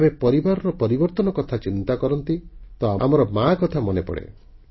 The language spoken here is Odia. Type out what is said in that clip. ଯେତେବେଳେ ଆମେ ପରିବାରରେ ପରିବର୍ତ୍ତନର କଥା ଚିନ୍ତା କରନ୍ତି ତ ଆମର ମା କଥା ମନେପଡ଼େ